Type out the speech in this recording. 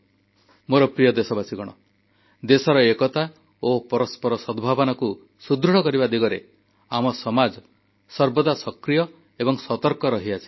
ମୋର ପ୍ରିୟ ଦେଶବାସୀଗଣ ଦେଶର ଏକତା ଓ ପରସ୍ପର ସଦ୍ଭାବନାକୁ ସୁଦୃଢ଼ କରିବା ଦିଗରେ ଆମ ସମାଜ ସର୍ବଦା ସକ୍ରିୟ ଏବଂ ସତର୍କ ରହିଆସିଛି